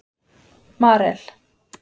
Marel